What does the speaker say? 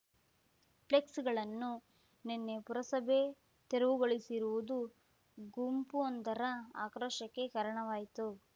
ಫ್ಲೆಕ್ಸ್‌ಗಳನ್ನು ನಿನ್ನೆ ಪುರಸಭೆ ತೆರವುಗೊಳಿಸಿರುವುದು ಗುಂಪೊಂದರ ಆಕ್ರೋಶಕ್ಕೆ ಕಾರಣವಾಯಿತು